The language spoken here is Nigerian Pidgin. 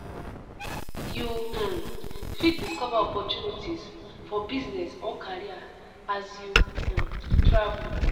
You um fit discover opportunities for business or career as as you um travel.